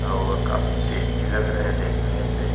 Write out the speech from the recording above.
और काफी टेस्टी लग रहे हैं देखने से।